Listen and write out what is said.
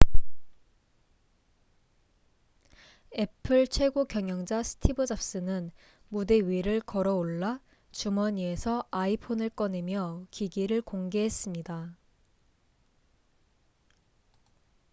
애플 최고경영자 스티브 잡스는 무대 위를 걸어올라 주머니에서 iphone 꺼내며 기기를 공개했습니다